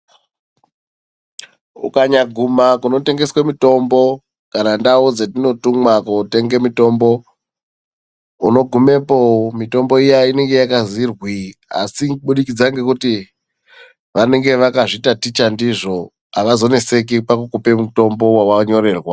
Ukanyaguma kunotengeswe mitombo kana ndau dzatinotumwa kotenga mitombo unogumepo mitombo iya inenge yakazi rwii asi kubudikidza ngekuti vanenge vakazvindaticha ndizvo avazonetseki pakukupa mutombo wewanyorerwa